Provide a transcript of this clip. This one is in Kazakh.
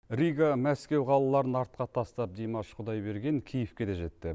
рига мәскеу қалаларын артқа тастап димаш құдайберген киевке де жетті